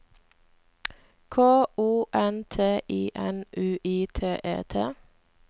K O N T I N U I T E T